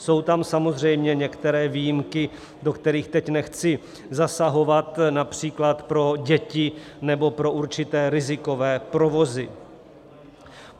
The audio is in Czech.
Jsou tam samozřejmě některé výjimky, do kterých teď nechci zasahovat, například pro děti nebo pro určité rizikové provozy.